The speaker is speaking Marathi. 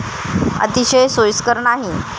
अतिशय सोयीस्कर नाही.